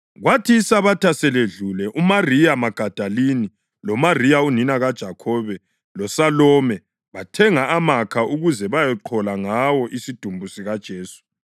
Kwathi iSabatha seledlule, uMariya Magadalini, loMariya unina kaJakhobe loSalome bathenga amakha ukuze bayeqhola ngawo isidumbu sikaJesu.